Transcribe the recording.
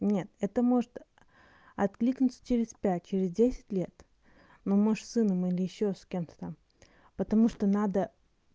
нет это может откликнуться через пять через десять лет но мы же с сыном или ещё с кем-то там потому что надо